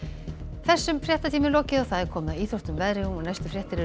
þessum fréttatíma er lokið og komið að íþróttum og veðri næstu fréttir eru